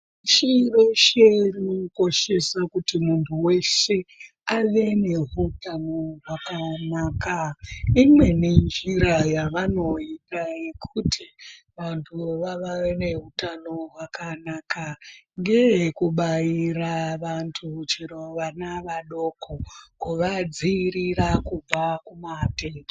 Chiresheni inokoshesa kuti muntu weshe ave neutano hwakanaka. Imweni njira yavanoita yekuti vantu vave nehutano hwakanaka. Ngeyekubaira vantu chero vana vadoko kuvadziirira kubva kumatenda.